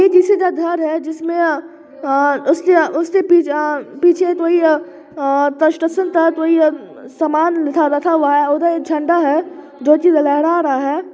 यह किसी का घर है जिसमें अ-उसके पीछे अ-कोई अ-कंस्ट्रक्शन का कोई अ-सामान रखा हुआ है उधर झंडा है जो कि वह लहरा रहा है ।